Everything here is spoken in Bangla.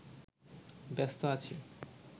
ব্যস্ত আছি